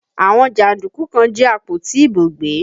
Àwọn jàndúkú kan jí àpótí ìbò gbé